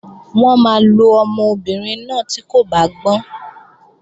Wọ́n máa lo ọmọbìnrin náà tí kò bá gbọ́n